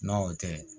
N'o tɛ